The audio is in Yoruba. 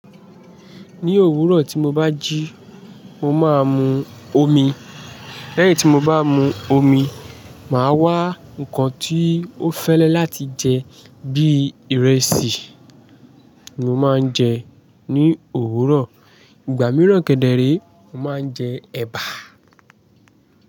Ní òwúrọ̀ tí mo bá jí, mo máa mu omi. Lẹ́yìn tí mo bá mu omi, màá wá ǹkan tí o fẹ́lẹ́ láti jẹ bi ìrẹsì ni mo máa ń jẹ ní òwúrọ̀. Ìgbà míràn kẹ́dẹ̀ réè, mo máa ń jẹ ẹ̀bà.